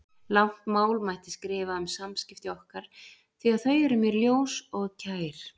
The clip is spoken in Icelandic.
Langt mál mætti skrifa um samskipti okkar því að þau eru mér ljós og kær.